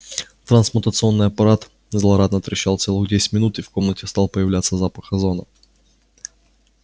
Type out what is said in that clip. трансмутационный аппарат злорадно трещал целых десять минут и в комнате стал появляться запах озона